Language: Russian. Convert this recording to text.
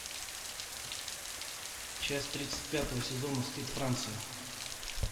часть тридцать пятого сезона стыд франции